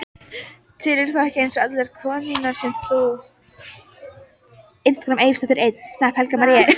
Telurðu þá ekki eins og allar konurnar sem þú?